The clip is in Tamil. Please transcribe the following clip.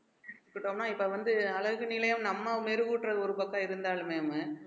இப்போமா இப்ப வந்து அழகு நிலையம் நம்ம மெருகூட்டறது ஒரு பக்கம் இருந்தாலுமேமு